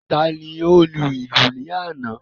Tani ó lu ìlù ní àná?